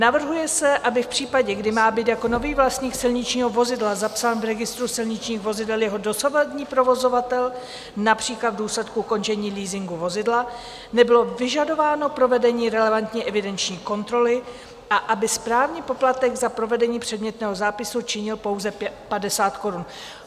Navrhuje se, aby v případě, kdy má být jako nový vlastník silničního vozidla zapsán v registru silničních vozidel jeho dosavadní provozovatel, například v důsledku ukončení leasingu vozidla, nebylo vyžadováno provedení relevantní evidenční kontroly a aby správní poplatek za provedení předmětného zápisu činil pouze 50 korun.